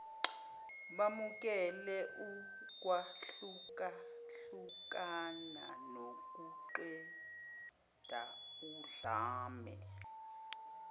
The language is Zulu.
bamukele ukwahlukahlukana nokuqedaudlame